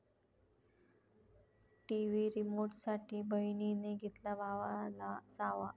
TV रिमोटसाठी बहिणीने घेतला भावाला चावा